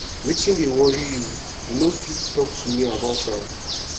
wetin dey worry you you fit talk to me about am